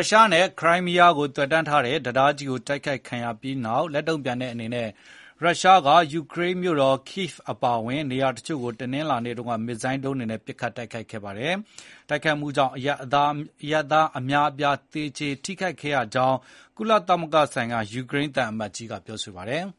ုရှားနဲ့ ခရိုင်းမီးယားဒေသ ဆက်သွယ်ထားတဲ့ တံတားကြီ းတိုက်ခိုက်ခံခဲ့ရပြီးနောက် လက်တုံ့ပြန်တဲ့ အနေနဲ့ ရုရှားက ယူကရိန်းမြို့တော် Kyiv အပါအဝင်နေရာချို့ကို တနင်္လာနေ့က မစ်ဇိုင်းဒုံးတွေနဲ့ ပစ်ခတ်တိုက်ခိုက်ခဲ့ပါတယ်။ တိုက်ခိုက်မှုတွေကြောင့် အရပ်သား အများအပြား သေကျေ ထိခိုက်ခဲ့ရကြောင်းလည်း ကုလသမဂ္ဂဆိုင်ရာ ယူကရိန်း သံအမတ်ကြီး က ပြောပါတယ်။ “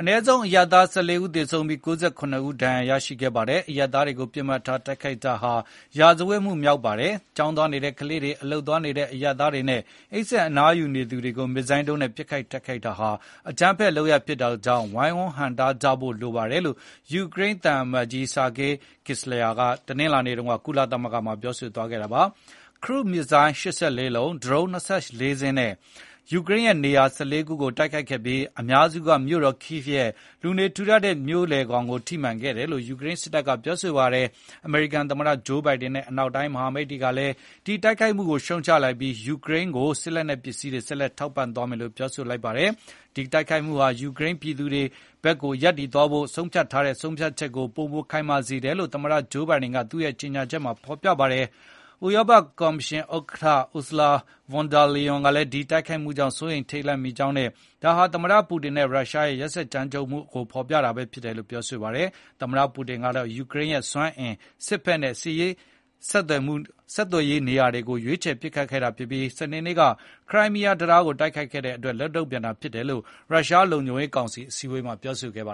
အနည်းဆုံး အရပ်သား ၁၄ ဦးသေဆုံးပြီး၊ ၉၇ ဦးဒါဏ်ရာရခဲ့ပါတယ်။ အရပ်သားတွေကို ပစ်မှတ်ထားတိုက်ခိုက် တာဟာ စစ်ရာဇဝတ်မှုမြောက်ပါတယ်။ ကျောင်းသွားနေတဲ့ကလေးတွေ၊ အလုပ်သွားနေတဲ့ အရပ်သားတွေနဲ့ အိပ်စက် အနားယူနေသူတွေကို မစ်ဇိုင်းဒုန်းနဲ့ ပစ်ခတ်တိုက်ခိုက်တာဟာ အကြမ်းဖက် လုပ်ရပ်ဖြစ်တာကြောင့် ဝိုင်ဝန်းဟန့်တားကြဖို့ လိုပါတယ်။” လို့ ယူကရိန်းသံအမတ်ကြီး Sergyi Kyslytsya က တနင်္လာနေ့ ကုလသမဂ္ဂမှာ ပြောဆိုသွားခဲ့တာပါ။ Cruise မစ်ဇိုင်းဒုံး ၈၄ လုံး၊ ဒရုန်း ၂၄ စင်းနဲ့ ယူကရိန်းရဲ့ နေရာ ၁၄ ခုကို တိုက်ခိုက်ခဲ့ပြီး အများစုကမြို့တော် Kyivရဲ့ လူနေထူ ထပ်တဲ့ မြို့လည်ကို ထိမှန်ခဲ့တယ်လို့ ယူကရိန်းစစ်တပ်က ပြောပါတယ်။ အမေရိကန်သမတ ဂျိုးဘိုင်ဒင်နဲ့ အနောက်တိုင်း မဟာမိတ်တွေကလည်း ဒီတိုက်ခိုက်မှုကိုရှုံ့ချလိုက်ပြီး၊ ယူကရိန်းကို စစ်လက်နက် ပစ္စည်းတွေ ဆက်လက်ထောက်ပံ သွားမယ်လို့ ပြောဆိုလိုက်ပါတယ်။ ဒီတိုက်ခိုက်မှုဟာ ယူကရိန်းပြည်သူတွေ ဘက်ရပ်တည်သွားဖို့ ဆုံးဖြတ်ချက်ကို ပိုမိုခိုင်မာစေတယ်လို့ သမ္မတ ဂျိုးဘိုင်ဒင် က သူ့ရဲ့ကြေညာချက်မှာ ဖေါ်ပြထားပါတယ်။ ဥရောပ ကော်မရှင် ဥက္ကဌ Ursula von der Leyen ကလည်း ဒီတိုက်ခိုက်မှုကြောင့် စိုးရိမ်ထိတ်လန့်မိကြောင်းနဲ့ ဒါဟာ သမ္မတ ပူတင်နဲ့ ရုရှားရဲ့ ရက်စက်ကြမ်းကြုတ်မှုနဲ့ အကြမ်းဖက်မှုကို ဖေါ်ပြတာ ဖြစ်တယ်လို့ ပြောဆိုပါတယ်။ သမ္မတ ပူတင်ကတော့ ယူကရိန်းရဲ့ စွမ်းအင်၊ စစ်ဘက်နဲ့ ဆက်သွယ်ရေး ပစ်မှတ်တွေကို တိုက်ခိုက်ခဲ့ တာဖြစ်ပြီး၊ စနေနေ့က ခရိုင်းမီးယား တံတားကို တိုက်ခိုက်ခဲ့တဲ့အတွက် လက်တုံ့ပြန်တာလို့ ရုရှာ းလုံခြုံရေးကောင်စီအစည်းအဝေးမှာ ပြောဆိုခဲ့ပါ